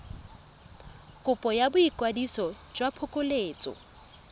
kopo ya boikwadiso jwa phokoletso